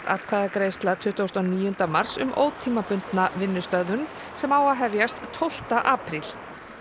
atkvæðagreiðsla tuttugasta og níunda mars um ótímabundna vinnustöðvun sem á að hefjast tólfta apríl